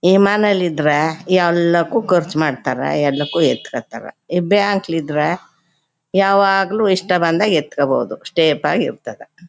ಈಮಾನ್ ಅಲ್ಲಿ ಇದ್ರೆ ಎಲ್ಲವಕು ಖರ್ಚು ಮಾಡ್ತಾರಾ ಎಲ್ಲಕು ಎತ್ಕೋತಾರ ಬ್ಯಾಂಕ್ ಲಿ ಇದ್ರೆ ಯಾವಾಗ್ಲೂ ಇಷ್ಟ ಬಂದಾಗ ಎತ್ಕೊಬಹುದು. ಸ್ಟೇಪ್ ಆಗಿ ಇರ್ತದ.